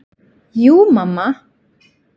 Jú mamma.